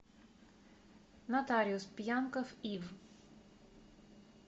нотариус пьянков ив